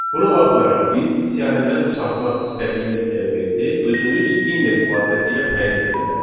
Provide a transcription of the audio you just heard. Buna baxmayaraq, biz siyahıdan çıxartmaq istədiyimiz elementi özümüz indeks vasitəsilə təyin edə bilərik.